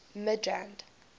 midrand